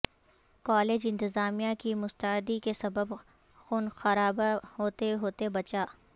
college انتظامیہ کی مستعدی کے سبب خونخرابہ ہوتے ہوتے بچا